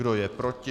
Kdo je proti?